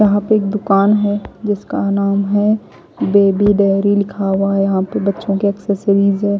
यहां पे एक दुकान है जिसका नाम है बेबी डायरी लिखा हुआ यहां पर बच्चों के एक्सेसरीज हैं।